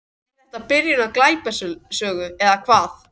Er þetta byrjun á glæpasögu eða hvað?